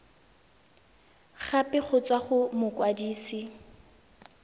gape go tswa go mokwadise